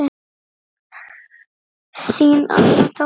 Þín Anna Dóra.